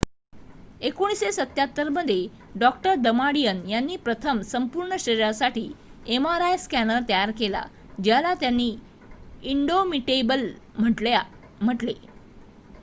1977 मध्ये डॉ दमाडियन यांनी प्रथम संपूर्ण शरीरासाठी एमआरआय स्कॅनर तयार केला ज्याला त्यांनी इंडोमिटेबल म्हटले